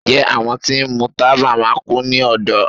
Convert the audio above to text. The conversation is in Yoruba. njẹ awọn ti ń mú tábá máà kú ní ọdọ?